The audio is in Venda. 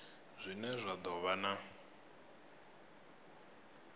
zwine zwa do vha na